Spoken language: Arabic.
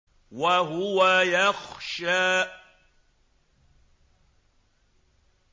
وَهُوَ يَخْشَىٰ